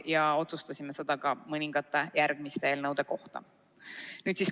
Ja me otsustasime seda ka mõningate järgmiste eelnõude kohta.